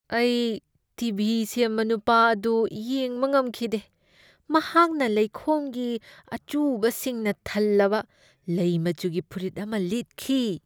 ꯑꯩ T. V. ꯁꯦꯝꯕ ꯅꯨꯄꯥ ꯑꯗꯨ ꯌꯦꯡꯕ ꯉꯝꯈꯤꯗꯦ꯫ ꯃꯍꯥꯛꯅ ꯂꯩꯈꯣꯝꯒꯤ ꯑꯆꯨꯕꯁꯤꯡꯅ ꯊꯜꯂꯕ ꯂꯩ ꯃꯆꯨꯒꯤ ꯐꯨꯔꯤꯠ ꯑꯃ ꯂꯤꯠꯈꯤ꯫